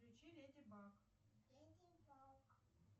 включи леди баг